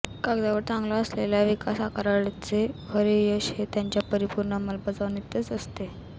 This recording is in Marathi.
कागदावर चांगला असलेल्या विकास आराखड्याचे खरे यश हे त्याच्या परिपूर्ण अंमलबजावणीतच असते